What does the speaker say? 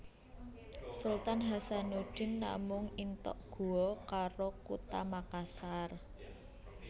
Sultan Hasanudin namung intok Guo karo Kutha Makassar